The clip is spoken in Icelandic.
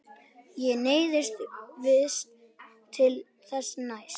Ég neyðist víst til þess næst.